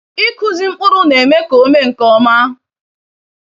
Ikụzi mkpụrụ neme ka ome nke ọma.